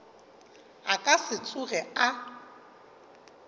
a ka se tsoge a